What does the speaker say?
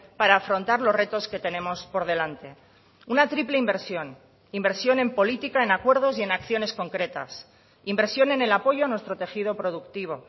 para afrontar los retos que tenemos por delante una triple inversión inversión en política en acuerdos y en acciones concretas inversión en el apoyo a nuestro tejido productivo